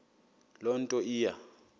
loo nto iya